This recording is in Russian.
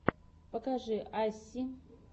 покажи асси